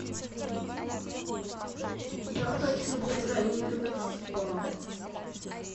я хочу забронировать спа